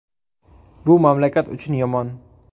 Bu mamlakat uchun yomon!”.